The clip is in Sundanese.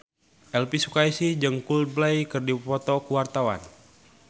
Elvy Sukaesih jeung Coldplay keur dipoto ku wartawan